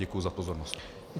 Děkuji za pozornost.